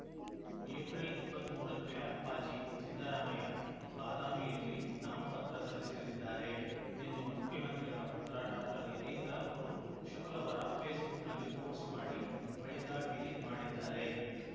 April ಇಪ್ಪತ್ತ್ ಮೂರಕ್ಕೆ ಅಪ್ಪಾಜಿ ಸಿದ್ದರಾಮಯ್ಯ ಬಾದಾಮಿಯಲ್ಲಿ ನಾಮಪತ್ರ ಸಲ್ಲಿಸಲಿದ್ದಾರೆ ಎಂದು ಮುಖ್ಯಮಂತ್ರಿಗಳ ಪುತ್ರ ಡಾಕ್ಟರ್ ಯತೀಂದ್ರ ಅವರು ಶುಕ್ರವಾರ ಫೇಸ್‌ಬುಕ್‌ನಲ್ಲಿ ಪೋಸ್ಟ್‌ ಮಾಡಿ ಬಳಿಕ ಡಿಲೀಟ್‌ ಮಾಡಿದ್ದಾರೆ